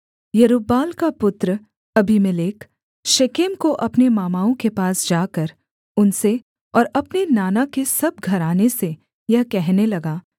यरूब्बाल का पुत्र Abimelech Shechem को अपने मामाओं के पास जाकर उनसे और अपने नाना के सब घराने से यह कहने लगा